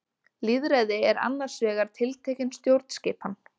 Lýðræði er annars vegar tiltekin stjórnskipan.